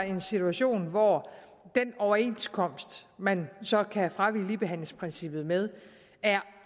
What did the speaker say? en situation hvor den overenskomst man så kan fravige ligebehandlingsprincippet med er